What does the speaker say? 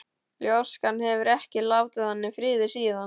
Ljóskan hefur ekki látið hann í friði síðan.